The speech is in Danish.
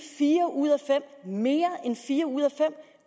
en ud af fem mere end fire ud af fem